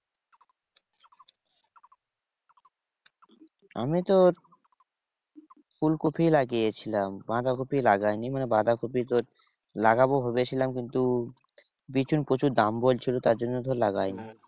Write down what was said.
আমি তো ফুলকপি লাগিয়েছিলাম। বাঁধাকপি লাগাইনি, মানে বাঁধাকপি তোর লাগাবো ভেবেছিলাম কিন্তু বিছন প্রচুর দাম বলছিল তার জন্য তোর লাগাইনি।